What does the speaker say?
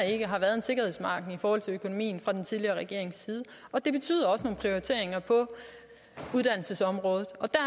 ikke har været en sikkerhedsmargin i forhold til økonomien fra den tidligere regerings side det betyder også nogle prioriteringer på uddannelsesområdet og der